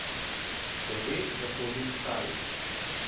Ker ve, da hodim k Sari.